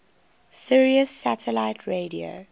sirius satellite radio